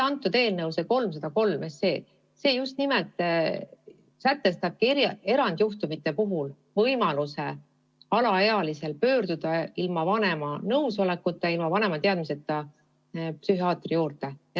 Eelnõu 303 sätestab aga just nimelt erandjuhtumite puhul võimaluse alaealisel ilma vanema nõusolekuta, ilma vanema teadmiseta psühhiaatri poole pöörduda.